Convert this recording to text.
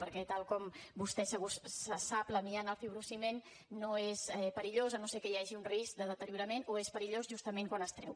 perquè tal com vostè segur sap l’amiant el fibrociment no és perillós si no és que hi hagi un risc de deteriorament o és perillós justament quan es treu